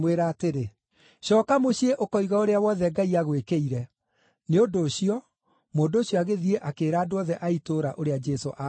“Cooka mũciĩ ũkoige ũrĩa wothe Ngai agwĩkĩire.” Nĩ ũndũ ũcio mũndũ ũcio agĩthiĩ akĩĩra andũ othe a itũũra ũrĩa Jesũ aamwĩkĩire.